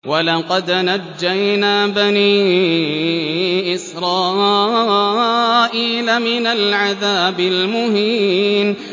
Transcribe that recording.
وَلَقَدْ نَجَّيْنَا بَنِي إِسْرَائِيلَ مِنَ الْعَذَابِ الْمُهِينِ